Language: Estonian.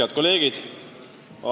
Head kolleegid!